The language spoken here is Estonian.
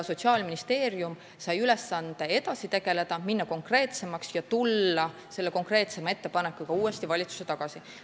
Sotsiaalministeerium sai ülesande teemaga edasi tegeleda, minna konkreetsemaks ja tulla selle konkreetsema ettepanekuga uuesti valitsusse tagasi.